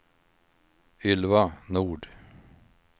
Ylva Nord